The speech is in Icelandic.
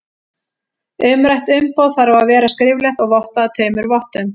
Umrætt umboð þarf að vera skriflegt og vottað af tveimur vottum.